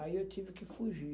Aí eu tive que fugir.